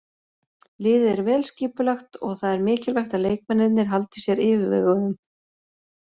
Liðið er vel skipulagt og það er mikilvægt að leikmennirnir haldi sér yfirveguðum.